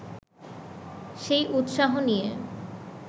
সেই উৎসাহ নিয়ে